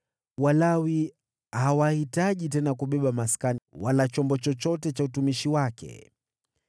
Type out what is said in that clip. Walawi hawahitaji tena kubeba Maskani wala chombo chochote cha utumishi wake.”